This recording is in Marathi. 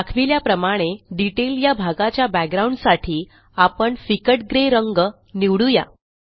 दाखविल्याप्रमाणे डिटेल या भागाच्या बॅकग्राउंड साठी आपण फिकटgray रंग निवडू या